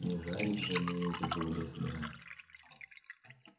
не жарить же мы этих голубей собирались